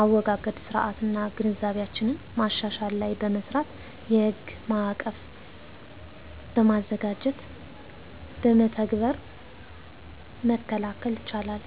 አወጋገድ ስርዓትና ግንዛቢያችንን ማሻሻል ላይ በመስራት የሕግ ማዕቀፍ በማዘጋጀት በመተግበር መከላከል ይቻላል።